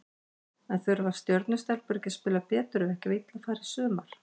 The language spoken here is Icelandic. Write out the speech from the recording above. En þurfa Stjörnu stelpur ekki að spila betur ef ekki á illa fara í sumar?